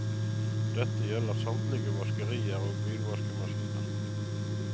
Dette gjelder samtlige vaskerier og bilvaskemaskiner.